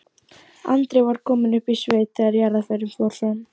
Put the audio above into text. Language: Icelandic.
Andri var kominn upp í sveit þegar jarðarförin fór fram.